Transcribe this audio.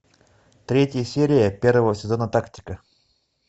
третья серия первого сезона тактика